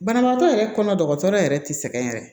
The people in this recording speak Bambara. Banabaatɔ yɛrɛ kɔnɔ dɔgɔtɔrɔ yɛrɛ tɛ sɛgɛn yɛrɛ